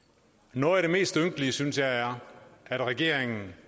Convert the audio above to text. noget af det mest ynkelige synes jeg er at regeringen